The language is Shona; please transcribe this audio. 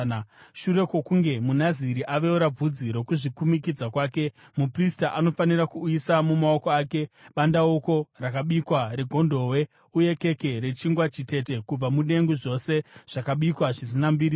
“ ‘Shure kwokunge muNaziri aveura bvudzi rokuzvikumikidza kwake, muprista anofanira kuisa mumaoko ake bandauko rakabikwa regondobwe, uye keke nechingwa chitete kubva mudengu, zvose zvakabikwa zvisina mbiriso.